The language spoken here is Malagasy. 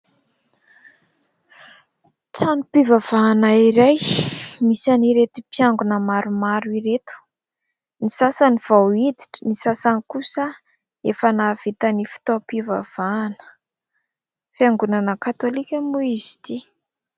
Trano-pivavahana iray, nisy an'ireto mpiangona maromaro ireto. Ny sasany vao hiditra, ny sasany kosa efa nahavita ny fitaom-pivavahana. Fiangonana katolika moa izy ity.